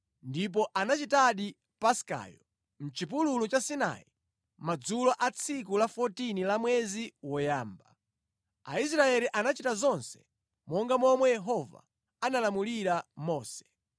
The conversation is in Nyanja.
ndipo anachitadi Paskayo mʼchipululu cha Sinai madzulo a tsiku la 14 la mwezi woyamba. Aisraeli anachita zonse monga momwe Yehova analamulira Mose.